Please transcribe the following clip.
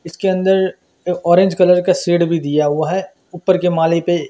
इसके अंदर orange colour का शेड भी दिया हुआ है ऊपर के माले पे--